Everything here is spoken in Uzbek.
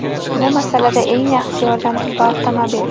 Bu masalada eng yaxshi yordamchi bu avtomobil.